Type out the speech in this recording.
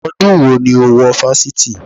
Ọdún wo ni o wo wọ Fáṣítì?